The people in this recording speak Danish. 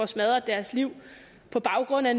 smadret deres liv på baggrund af